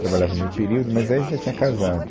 Trabalhava meio período, mas aí a gente já tinha casado.